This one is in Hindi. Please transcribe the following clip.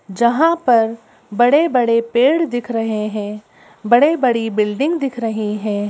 जहां पर बड़े बड़े पेड़ दिख रहे हैं बड़े बड़े बिल्डिंग दिख रही हैं।